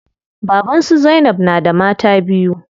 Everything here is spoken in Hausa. Baban su zainab na da mata biyu.